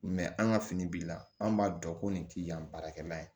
an ka fini b'i la an b'a dɔn ko nin tɛ yan baarakɛla ye